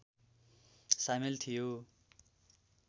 सामेल थियो